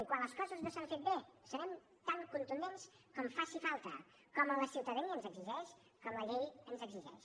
i quan les coses no es facin bé serem tan contundents com faci falta com la ciutadania ens exigeix com la llei ens exigeix